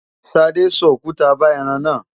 Ṣadé so òkuta ba ẹran náà.